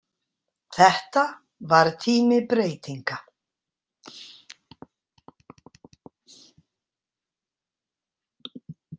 Þetta var tími breytinga.